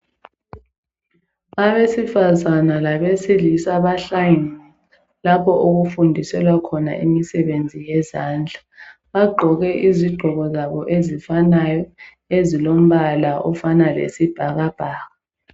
Abesifazana labesilisa bahlangene lapho okufundiselwa khona imisebenzi yezandla. Bagqoke izigqoko zabo ezifanayo ezilombala ofana lesibhakabhaka.